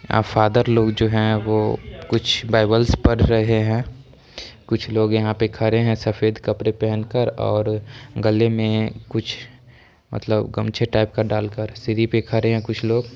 Father लोग जो है वो कुछ बाइबिलस पढ़ रहे है कुछ लोग यहाँ पे खड़े है सफेद कपड़े पेहना कर और गले में कुछ मतलब गमछे टाइप डाल कर सीढ़ी पे खड़े है। कुछ लोग--